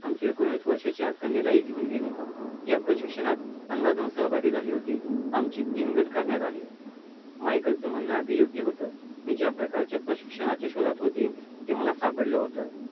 आमचे एकोणीस वर्षाच्या कन्येलाही घेऊन गेले, या प्रशिक्षणात पंधरा जण सहभागी झाले होते. आमचे तीन गट करण्यात आले. माईकेलचं म्हणनं आधी योग्य होतं. मी ज्याप्रकारच्या प्रशिक्षणच्या शोधात होते, ते मला सापडलं होतं.